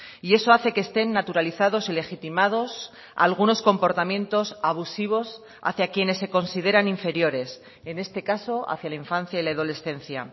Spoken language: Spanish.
y eso hace que estén naturalizados y legitimados algunos comportamientos abusivos hacia quienes se consideran inferiores en este caso hacia la infancia y la adolescencia